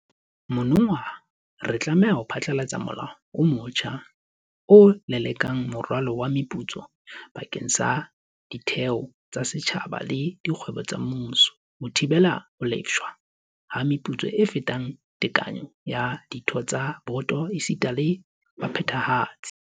Monongwaha re tla phatlalatsa molao o motjha o lelekelang moralo wa meputso bakeng sa ditheo tsa setjhaba le dikgwebo tsa mmuso, ho thibela ho lefshwa ha meputso e fetang tekanyo ya ditho tsa diboto esita le baphethahatsi.